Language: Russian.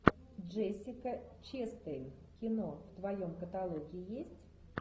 джессика честейн кино в твоем каталоге есть